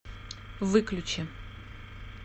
выключи